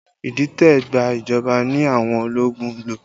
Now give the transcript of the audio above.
Idite gba ìjọba ní àwọn ológun ń lò